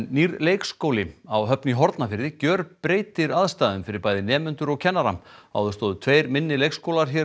nýr leikskóli á Höfn í Hornafirði gjörbreytir aðstæðum fyrir bæði nemendur og kennara áður stóðu tveir minni leikskólar